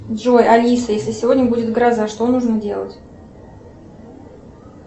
джой алиса если сегодня будет гроза что нужно делать